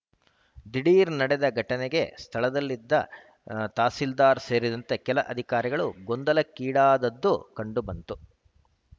ದಿಢೀರ್‌ ನಡೆದ ಘಟನೆಗೆ ಸ್ಥಳದಲ್ಲಿದ್ದ ಹ್ ತಹಸೀಲ್ದಾರ್‌ ಸೇರಿದಂತೆ ಕೆಲ ಅಧಿಕಾರಿಗಳು ಗೊಂದಲಕ್ಕೀಡಾದದ್ದು ಕಂಡುಬಂತು